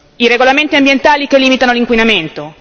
i regolamenti ambientali che limitano l'inquinamento